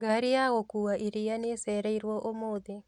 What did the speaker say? Ngari ya gũkua iria nĩĩcereirwo ũmũthĩ